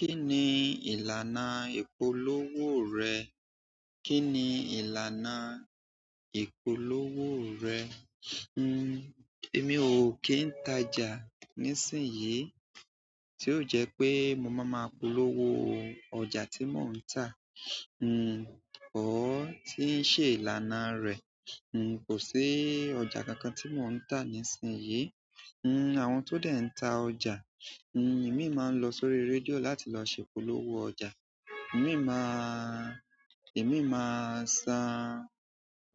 Kí ni ìlànà ìpolówó rẹ̀? Kí ni ìlànà ìpolówó rẹ̀? N-n, èmi ò kí ń ta jà nísìnyí tí yóò jẹ́ pé mo mama polówó ọjà tí mò ń tà. N-n, òó tí í ṣe ìlànà a rẹ̀. N-n, kò sí ọjà kankan tí mò ń tà nísìnyí. N-n, àwọn tó dẹ̀ ń ta ọjà, n-n, ìmíì má ń lọ sórí i rédíò láti lọ ṣe ìpolówó ọjà. Ìmíì maa, ìmíì maa san